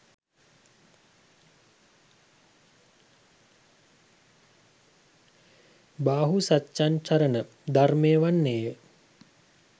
බාහු සච්චං චරණ ධර්මය වන්නේය.